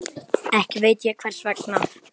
Ekki veit ég hvers vegna.